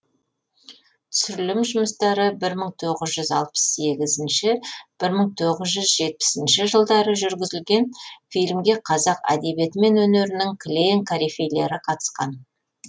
түсірілім жұмыстары бір мың тоғыз жүз алпыс сегізінші бір мың тоғыз жүз жетпісінші жылдары жүргізілген фильмге қазақ әдебиеті мен өнерінің кілең корифейлері қатысқан